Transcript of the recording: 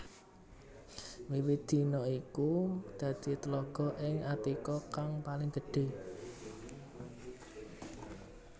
Wiwit dina iku dadi tlaga ing Attika kang paling gedhé